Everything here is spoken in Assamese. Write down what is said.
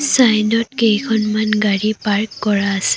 চাইদত কেইখনমান গাড়ী পাৰ্ক কৰা আছে।